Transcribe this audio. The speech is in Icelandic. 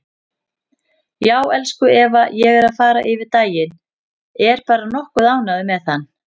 Já, elsku Eva, ég er að fara yfir daginn, er bara nokkuð ánægður með hann.